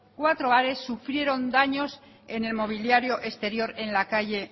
sufrieron daños en el mobiliario exterior en la calle